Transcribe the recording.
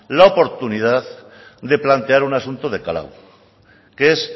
la oportunidad de plantear un asunto de calado que es